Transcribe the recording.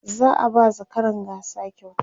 za'a ba zakaran gasa kyauta